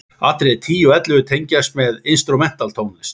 Atriði 10 og 11 tengjast með instrumental tónlist.